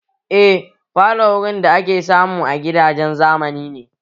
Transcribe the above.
Eh falo wurin da ake samu a gidajen zamani